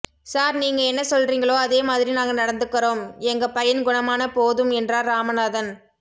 sir நீங்க என்ன சொல்றீங்களோ அதே மாதிரி நாங்க நடந்துக்கறோம் எங்க பையன் குணமான போதும் என்றார் ராமநாதன்